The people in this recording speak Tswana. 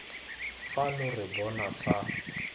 fa lo re bona fa